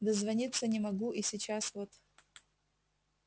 дозвониться не могу и сейчас вот